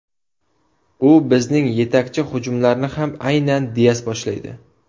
U bizning yetakchi, hujumlarni ham aynan Dias boshlaydi.